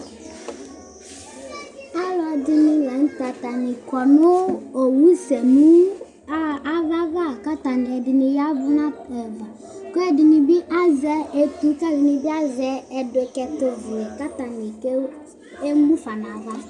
Alʊɛɖɩni la ŋʊtɛ, atanɩ ƙɔ ŋʊ owʊsɛ nʊ ava ʋa Ƙata, ɛɖinɩ ƴavʊ elʊ Ƙɛɖiŋɩ azɛɓɩ azɛ étʊ , ƙɛɖɩnɩɓi azɛ ɛɖʊkɛtʊ ʋlɛ Ƙataŋɩ ƙémufa ŋava